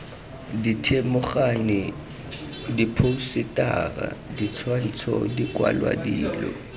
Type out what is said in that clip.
dithedimogane diphousetara ditshwantsho dikwalwa dilo